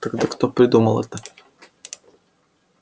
тогда кто придумал это